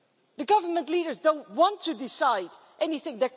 The government leaders don't want to decide anything.